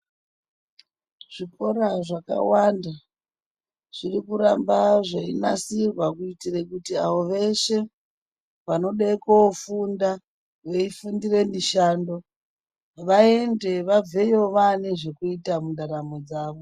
Zvikhuhlani zvakawanda zviri kuramba zveyinasirwa kuitira kuti avo veshe vandode kofunda kofundira mushando vayende vabveyo vane zvekuita mundaramo dzavo.